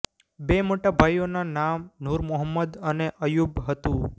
બે મોટા ભાઈઓના નામ નૂર મોહમ્મદ અને અય્યૂબ હતું